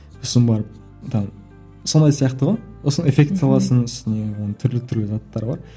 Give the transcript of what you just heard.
сосын барып сондай сияқты ғой сосын эффект саласың үстіне оның түрлі түрлі заттары бар